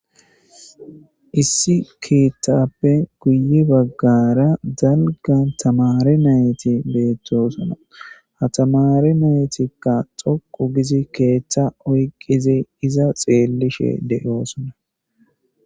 Issi keeththappe guye baggara dalga tamare nayyti beettosona. Ha tamare nayytikka xoqqu gizi keeththa oyqqizi iza xeellishe de'oosona.